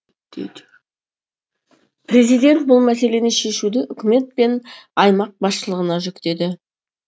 президент бұл мәселені шешуді үкімет пен аймақ басшылығына жүктеді